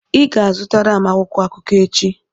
ị ga-azụtara m akwụkwọ akụkọ echi